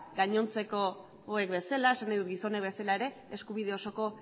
gainontzekoak bezala esan nahidut gizonek bezala ere eskubide osoko